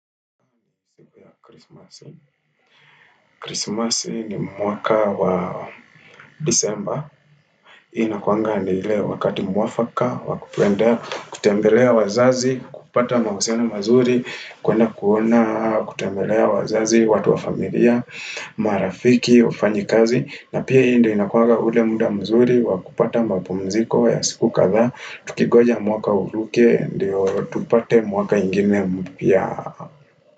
Krismasi ni mwaka wa disemba inakuanga ni ile wakati mwafaka, wa kutembea, kutembelea wazazi, kupata mahusiano mazuri kuenda kuona, kutembelea wazazi, watu wa familia, marafiki, wafanyi kazi na pia hii ndo inakuanga ule muda mzuri, wa kupata mapumziko ya siku kadhaa Tukingoja mwaka uruke, ndio tupate mwaka ingine mpya.